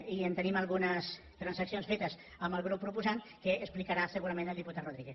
i tenim algunes transaccions fetes amb el grup proposant que explicarà segurament el diputat rodríguez